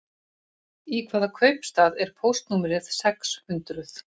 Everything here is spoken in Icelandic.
Í hvaða kaupstað er póstnúmerið sex hundruð?